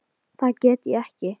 Það get ég ekki.